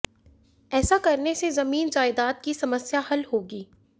ऐसा करने से जमीन जायदाद की समस्या हल होगी